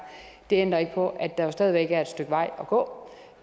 det ændrer ikke på at der jo stadig væk er et stykke vej at gå